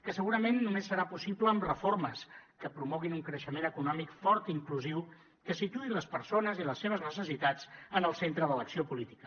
que segurament només serà possible amb reformes que promoguin un creixement econòmic fort i inclusiu que situï les persones i les seves necessitats en el centre de l’acció política